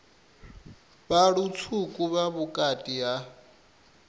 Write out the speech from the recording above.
vha lutswuku vha vhukati ha